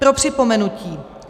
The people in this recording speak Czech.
Pro připomenutí.